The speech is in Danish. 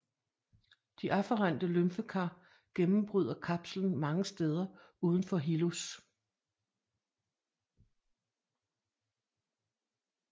De afferente lymfekar gennembryder kapslen mange steder udenfor hilus